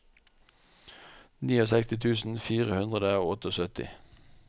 sekstini tusen fire hundre og syttiåtte